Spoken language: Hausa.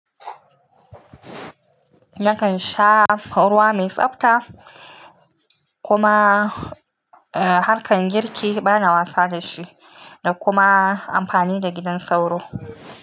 Nakan sha ruwa mai tsabta kuma, eh harkan girki bana wasa da shi da kuma amfani da gidan sauro.